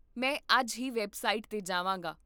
ਮੈਂ ਅੱਜ ਹੀ ਵੈੱਬਸਾਈਟ 'ਤੇ ਜਾਵਾਂਗਾ